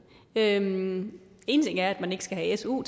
én én ting er at man ikke skal have su